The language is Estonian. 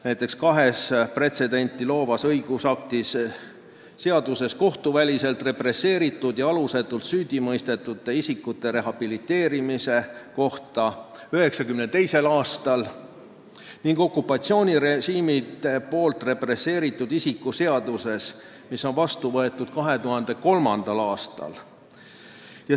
Näiteks võib tuua kaks pretsedenti loovat õigusakti: seadus kohtuväliselt represseeritud ja alusetult süüdimõistetud isikute rehabiliteerimise kohta 1992. aastal ning okupatsioonirežiimide poolt represseeritud isiku seadus, mis on vastu võetud 2003. aastal.